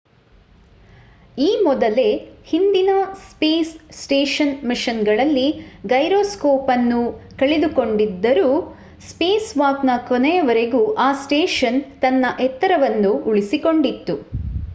ಈ ಮೊದಲೇ ಹಿಂದಿನ ಸ್ಪೇಸ್ ಸ್ಟೇಷನ್ ಮಿಷನ್‌ನಲ್ಲಿ ಗೈರೊಸ್ಕೋಪ್‍‌ ಅನ್ನು ಕಳೆದುಕೊಂಡಿದ್ದರೂ ಸ್ಪೇಸ್‍‌ವಾಕ್‍‌ನ ಕೊನೆಯವರೆಗೂ ಆ ಸ್ಟೇಷನ್ ತನ್ನ ಎತ್ತರವನ್ನು ಉಳಿಸಿಕೊಂಡಿತ್ತು